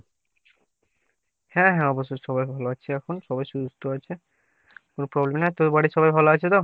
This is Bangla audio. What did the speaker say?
হ্যাঁ হ্যাঁ অবশ্যই সবাই ভালো আছে এখন সবাই সুস্থ আছে কোনো problem নাই আর তোর বাড়ির সবাই ভালো আছে তো ?